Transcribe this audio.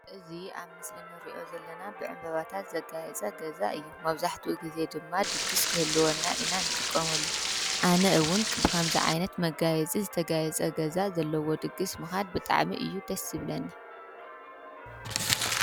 እዚ አብ ምስሊ ንሪኦ ዘለና ብዕምበባታት ዘጋየፀ ገዛ እዪ። መብዛሕቲኡ ግዜ ድማ ድግስ ክህልወና ኢና ንጥቀመሉ እዪ። አነ ዉን ከምዚ ዓይነት መጋየፂ ዝተጋየፀ ገዛ ዘለዎ ድግስ ምኻድ ብጣዕሚ እዪ ደስ ዝብለኒ።